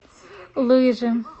лыжи